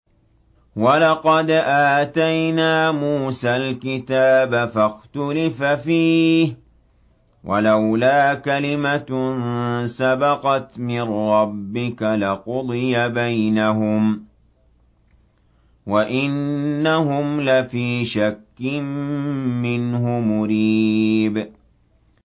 وَلَقَدْ آتَيْنَا مُوسَى الْكِتَابَ فَاخْتُلِفَ فِيهِ ۚ وَلَوْلَا كَلِمَةٌ سَبَقَتْ مِن رَّبِّكَ لَقُضِيَ بَيْنَهُمْ ۚ وَإِنَّهُمْ لَفِي شَكٍّ مِّنْهُ مُرِيبٍ